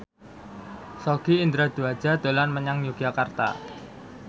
Sogi Indra Duaja dolan menyang Yogyakarta